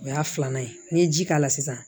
O y'a filanan ye n'i ye ji k'a la sisan